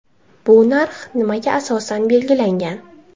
Bu narx nimaga asosan belgilangan?